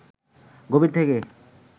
গভীর থেকে